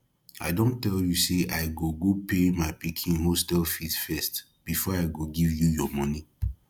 i don tell you say i go go pay my pikin hostel fees first before i go give you your money